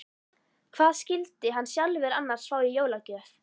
Hvað skyldi hann sjálfur annars fá í jólagjöf?